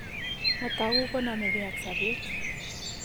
Matagu ko namege ak sabet